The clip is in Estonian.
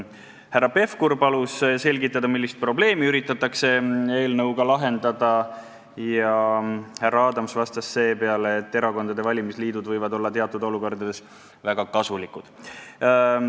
Härra Pevkur palus selgitada, millist probleemi üritatakse eelnõuga lahendada, ja härra Adams vastas, et erakondade valimisliidud võivad olla teatud olukordades väga kasulikud.